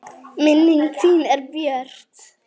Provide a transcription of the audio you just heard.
Minning þín er björt.